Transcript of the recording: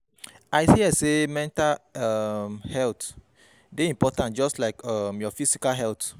I hear sey mental um health dey important just like um your physical health.